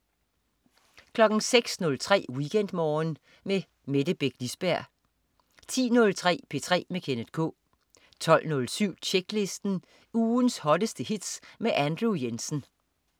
06.03 WeekendMorgen med Mette Beck Lisberg 10.03 P3 med Kenneth K 12.07 Tjeklisten. Ugens hotteste hits med Andrew Jensen